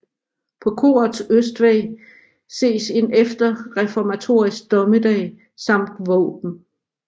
På korets østvæg ses en efterreformatorisk Dommedag samt våben